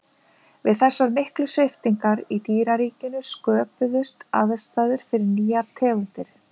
Við þessar miklu sviptingar í dýraríkinu sköpuðust aðstæður fyrir nýjar tegundir.